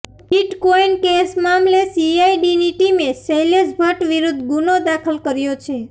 bitcoin case મામલે સીઆઇડીની ટીમે શૈલેશ ભટ્ટ વિરૂદ્ધ ગુનો દાખલ કર્યો છે